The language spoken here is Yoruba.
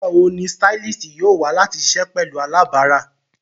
Nigbawo ni stylist yoo wa lati ṣiṣẹ pẹlu alabara?